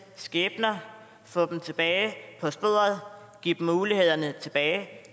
skæbner få dem tilbage på sporet give dem mulighederne tilbage det